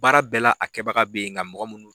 Baara bɛɛ la a kɛbaga bɛ yen nka mɔgɔ minnu